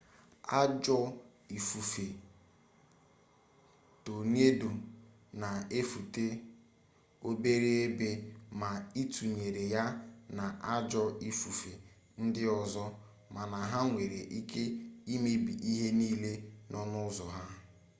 ajọọ ifufe tonedo na-efetu obere ebe ma ịtụnyere ya na ajọọ ifufe ndị ọzọ mana ha nwere ike imebi ihe niile nọ n'ụzọ ha